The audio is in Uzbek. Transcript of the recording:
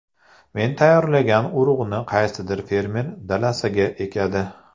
Men tayyorlagan urug‘ni qaysidir fermer dalasiga ekadi.